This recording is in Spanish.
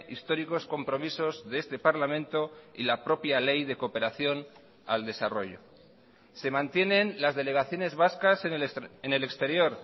históricos compromisos de este parlamento y la propia ley de cooperación al desarrollo se mantienen las delegaciones vascas en el exterior